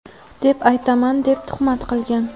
deb aytaman deb tuhmat qilgan.